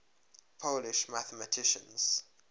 polish mathematicians